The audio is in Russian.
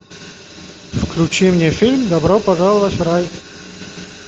включи мне фильм добро пожаловать в рай